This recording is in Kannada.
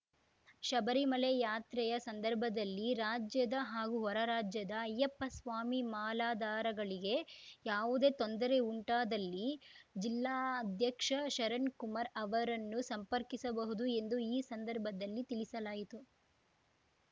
ಶಬರಿಮಲೆ ಯಾತ್ರೆಯ ಸಂದರ್ಭದಲ್ಲಿ ರಾಜ್ಯದ ಹಾಗೂ ಹೊರ ರಾಜ್ಯದ ಐಯ್ಯಪ್ಪಸ್ವಾಮಿ ಮಾಲಾಧಾರಗಳಿಗೆ ಯಾವುದೇ ತೊಂದರೆ ಉಂಟಾದಲ್ಲಿ ಜಿಲ್ಲಾ ಅಧ್ಯಕ್ಷ ಶರಣ್‌ಕುಮಾರ್‌ ಅವರನ್ನು ಸಂಪರ್ಕಿಸಬಹುದು ಎಂದು ಈ ಸಂದರ್ಭದಲ್ಲಿ ತಿಳಿಸಲಾಯಿತು